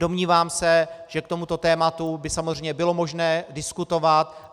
Domnívám se, že k tomuto tématu by samozřejmě bylo možné diskutovat.